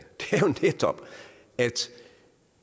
netop at